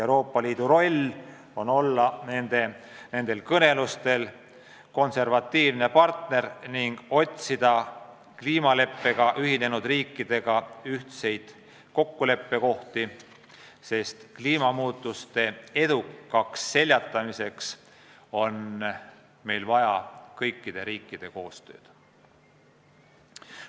Euroopa Liidu roll on olla nendel kõnelustel konservatiivne partner ning seada kliimaleppega ühinenud riikidega ühiseid eesmärke, sest kliimamuutuste edukaks seljatamiseks on meil vaja kõikide riikide koostööd.